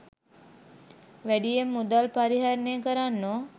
වැඩියෙන් මුදල් පරිහරණය කරන්නෝ